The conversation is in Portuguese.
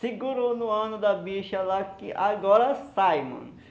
Segurou no ano da bicha lá que agora sai, mano.